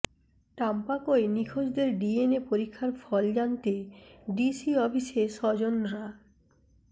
টাম্পাকোয় নিখোঁজদের ডিএনএ পরীক্ষার ফল জানতে ডিসি অফিসে স্বজনরা